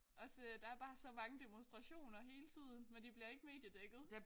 Også øh der er bare så mange demonstrationer hele tiden men de bliver ikke mediedækket